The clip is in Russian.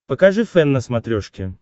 покажи фэн на смотрешке